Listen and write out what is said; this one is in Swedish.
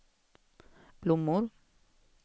blommor